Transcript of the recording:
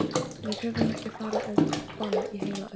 Við höfum ekki farið á ball í heila öld!